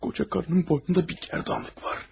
Qoca qarının boynunda bir gərdanlıq var.